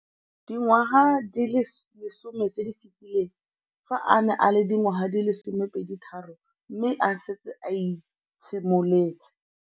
Dingwaga di le 10 tse di fetileng, fa a ne a le dingwaga di le 23 mme a setse a itshimoletse.